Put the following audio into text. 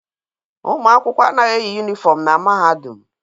Ụmụ akwụkwọ anaghị eyi yụnifọm na Mahadum.